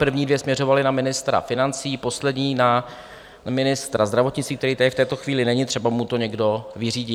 První dvě směřovaly na ministra financí, poslední na ministra zdravotnictví, který tady v této chvíli není, třeba mu to někdo vyřídí.